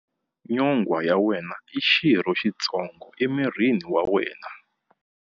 Nyonghwa ya wena i xirho xitsongo emirini wa wena.